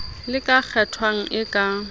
le ka kgethwang e ka